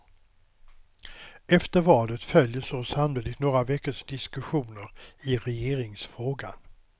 Efter valet följer så sannolikt några veckors diskussioner i regeringsfrågan.